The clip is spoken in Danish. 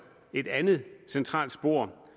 et andet centralt spor